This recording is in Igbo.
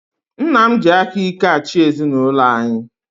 Nna m ji aka ike achị ezinaụlọ anyi